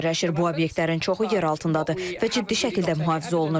Bu obyektlərin çoxu yeraltındadır və ciddi şəkildə mühafizə olunur.